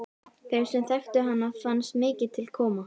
Þeim sem þekktu hana fannst mikið til koma.